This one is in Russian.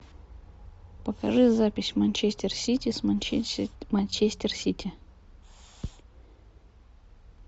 покажи запись манчестер сити с манчестер сити